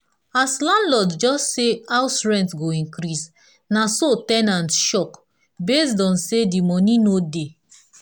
as landlord just talk say house rent go increase na so ten ant shock based on say di moni no dey